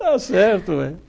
Está certo.